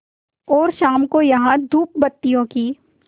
और शाम को यहाँ धूपबत्तियों की